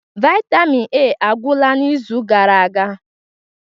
Vitamin A agwụla n'izu gara aga